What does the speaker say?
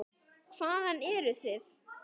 Hvaðan eruð þið?